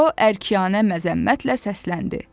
O əknyanə məzəmmətlə səsləndi.